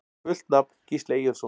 Fullt nafn: Gísli Eyjólfsson